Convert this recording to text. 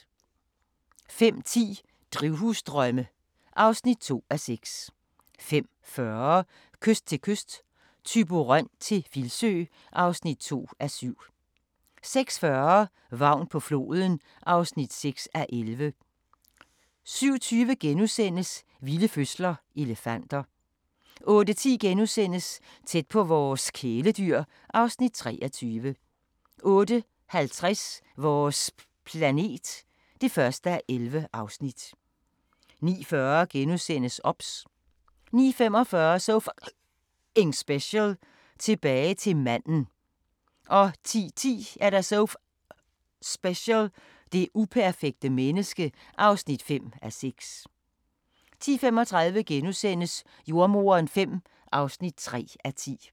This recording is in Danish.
05:10: Drivhusdrømme (2:6) 05:40: Kyst til kyst – Thyborøn til Filsø (2:7) 06:40: Vagn på floden (6:11) 07:20: Vilde fødsler - elefanter * 08:10: Tæt på vores kæledyr (Afs. 23)* 08:50: Vores planet (1:11) 09:40: OBS * 09:45: So F***ing Special: Tilbage til manden 10:10: So F***ing Special: Det uperfekte menneske (5:6) 10:35: Jordemoderen V (3:10)*